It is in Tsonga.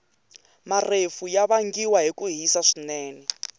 marefu yavangiwa hhikuhhisa swinene